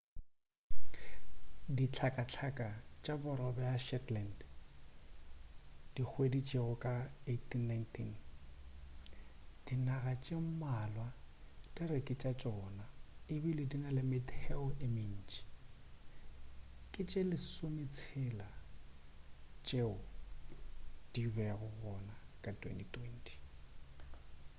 dihlakahlaka tša borwa bja shetland dihweditšwego ka 1819 dinaga tše mmalwa di re ke tša tšona ebile di na le metheo ye mentši ke tše lesometshela tšeo di bego gona ka 2020